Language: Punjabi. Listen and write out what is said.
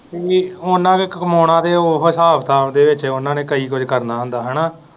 ਵੀ ਉਨਾਂ ਕ ਕਮਾਉਣਾ ਤੇ ਉਹੀ ਹਿਸਾਬ ਕਿਤਾਬ ਦੇ ਵਿੱਚ ਉਹਨਾਂ ਨੇ ਕਈ ਕੁੱਝ ਕਰਨਾ ਹੁੰਦਾ ਹਨਾਂ।